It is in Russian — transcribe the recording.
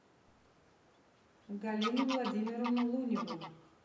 галину владимировну луневу